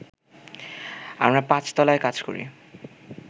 আমরা পাঁচতলায় কাজ করি